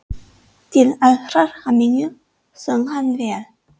Til allrar hamingju söng hann vel!